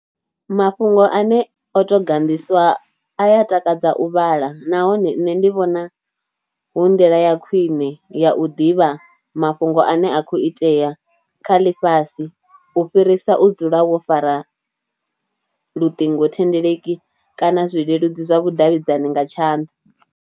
Mafhungo ane oto ganḓiswa a ya takadza u vhala nahone nṋe ndi vhona hu nḓila ya khwine ya u ḓivha mafhungo ane a a kho itea kha ḽifhasi u fhirisa u dzula wo fara luṱingo thendeleki kana zwileludzi zwa vhudavhidzani nga tshanḓa.